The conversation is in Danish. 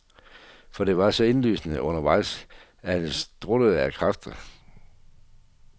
For det var så indlysende undervejs, at han struttede af kræfter.